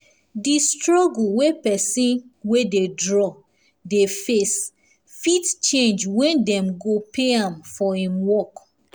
the struggle wey pesin wey dey draw dey face fit change when dem go pay am for him work